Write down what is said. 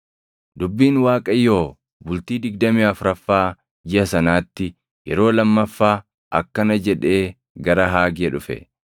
Dubbiin Waaqayyoo bultii digdamii afuraffaa jiʼa sanaatti yeroo lammaffaa akkana jedhee gara Haagee dhufe;